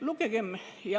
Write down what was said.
Lugegem!